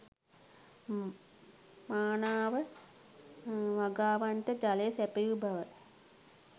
මානාව වගාවන්ට ජලය සැපයූ බව